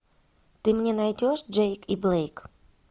ты мне найдешь джейк и блейк